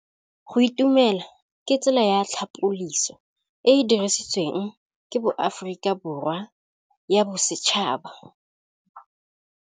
Go itumela ke tsela ya tlhapolisô e e dirisitsweng ke Aforika Borwa ya Bosetšhaba.